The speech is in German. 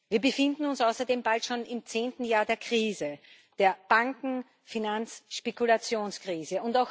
Wir befinden uns außerdem bald schon im zehnten Jahr der Krise der Banken Finanz Spekulationskrise.